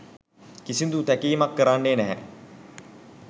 කිසිදු තැකීමක් කරන්නේ නැහැ